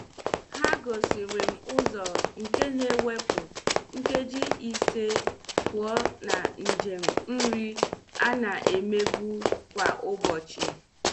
Ha gosiri m ụzọ nke na-ewepu nkeji ise pụọ na njem nri a na-emebu kwa ụbọchị.